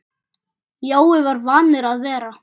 Jói var vanur að vera.